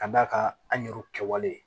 Ka d'a kan an yɛru kɛwale